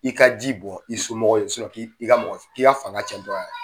I ka ji bɔn i somɔgɔw ye k'i i ka mɔgɔ k'i ka fanga cɛn tɔ la